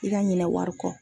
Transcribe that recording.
I ka ɲinɛ wari kɔ.